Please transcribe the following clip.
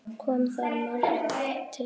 Kom þar margt til.